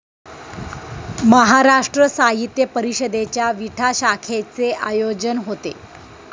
महाराष्ट्र साहित्य परिषदेच्या विटा शाखेचे आयोजन होते.